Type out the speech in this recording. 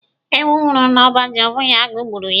Ewu nwụrụ n'ọba ji abụghị agụụ gburu ya.